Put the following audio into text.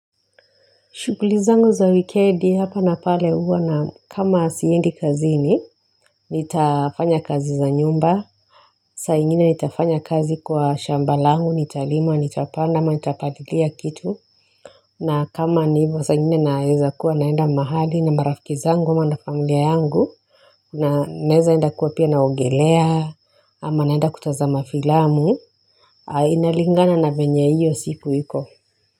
Shughuli zangu za wikendi hapa na pale huwa na kama siendi kazini. Nitafanya kazi za nyumba. Saa ingine nitafanya kazi kwa shamba langu, nitalima, nitapanda ama nitapalilia kitu na kama ni hivo saa ingine naeza kuwa naenda mahali na marafiki zangu ama na familia yangu. Naeza enda kuwa pia naogelea ama naenda kutazama filamu. Inalingana na venye hiyo siku iko. Kwa hivyo.